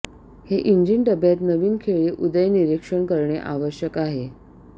हे इंजिन डब्यात नवीन खेळी उदय निरीक्षण करणे आवश्यक आहे